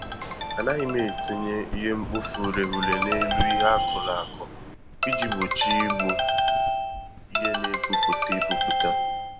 Anaghị m etinye ihe-mkpofu-ureghure n'elu ihe akụrụ akụ iji gbochie igbu ihe n'epu pụta epuputa